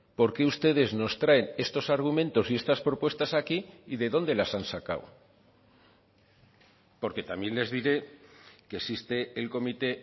por qué ustedes nos traen estos argumentos y estas propuestas aquí y de dónde las han sacado porque también les diré que existe el comité